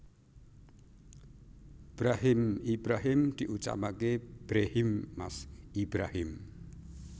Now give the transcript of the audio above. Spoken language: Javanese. Brahim Ibrahim diucapake Brehiim Mas Ibrahim